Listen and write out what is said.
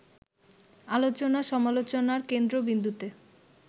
আলোচনা-সমালোচনার কেন্দ্রবিন্দুতে